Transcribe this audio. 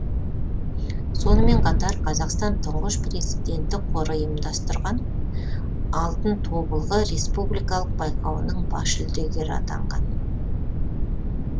сонымен қатар қазақстан тұңғыш президенті қоры ұйымдастырған алтын тобылғы республикалық байқауының бас жүлдегері атанған